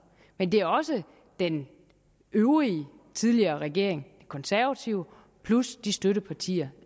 men det er også den øvrige tidligere regering de konservative plus de støttepartier